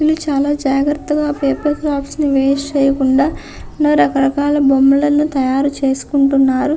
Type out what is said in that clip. వీళ్ళు చాలా జాగ్రత్తగా పేపర్ క్రాఫ్ట్స్ ని వేస్ట్ చేయకుండా ఎన్నో రక రకాల బొమ్మలను తయారు చేసుకుంటున్నారు.